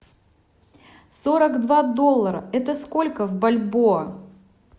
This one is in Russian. сорок два доллара это сколько в бальбоа